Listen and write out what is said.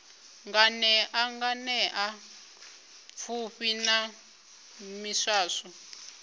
nganea nganea pfufhi na miswaswo